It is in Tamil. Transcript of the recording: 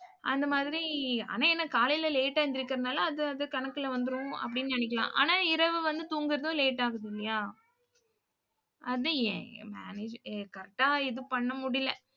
அந்த மாதிரி, ஆனா என்ன காலையில late ஆ எந்திரிக்கிறதுனால அது அது கணக்குல வந்துரும் அப்படின்னு நினைக்கலாம். ஆனால் இரவு வந்து தூங்குறதும் late ஆகுது இல்லையா? அது ஏன்? manage ஏ correct ஆ இது பண்ண முடியல.